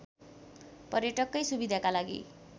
पर्यटककै सुविधाका लागि